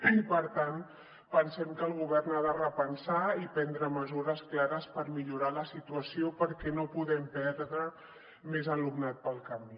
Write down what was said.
i per tant pensem que el govern ha de repensar i prendre mesures clares per millorar la situació perquè no podem perdre més alumnat pel camí